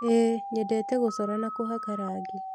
ĩĩ, nyendete gũcora na kũhaka rangi.